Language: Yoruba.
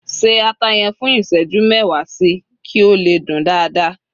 ṣe ata yen fún iṣẹju mẹwa sí, ki o le dün dada